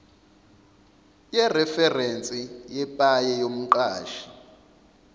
yereferense yepaye yomqashi